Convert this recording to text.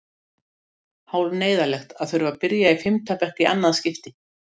Hálf neyðarlegt að þurfa að byrja í fimmta bekk í annað skipti.